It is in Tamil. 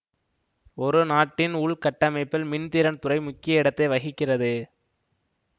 ஒரு நாட்டின் உள்கட்டமைப்பில் மின்திறன் துறை முக்கிய இடத்தை வகிக்கிறது